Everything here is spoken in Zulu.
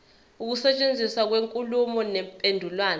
ukusetshenziswa kwenkulumo mpendulwano